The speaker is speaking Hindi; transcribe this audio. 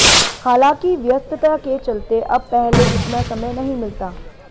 हालांकि व्यस्तता के चलते अब पहले जितना समय नहीं मिलता